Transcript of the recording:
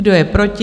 Kdo je proti?